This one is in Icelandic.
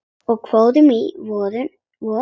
Og fórum í vörn.